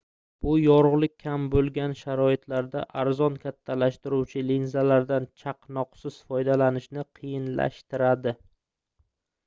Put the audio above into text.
bu yorugʻlik kam boʻlgan sharoitlarda arzon kattalashtiruvchi linzalardan chaqnoqsiz foydalanishni qiyinlashtiradi